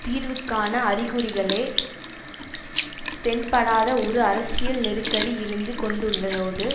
தீர்வுக்கான அறிகுறிகளே தென்படாத ஒரு அரசியல் நெருக்கடி இருந்து கொண்டுள்ளதோடு